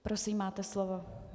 Prosím, máte slovo.